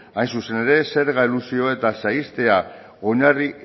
hain zuzen ere zerga elusio eta saihestea oinarri